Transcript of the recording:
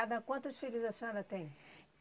quantos filhos a senhora tem?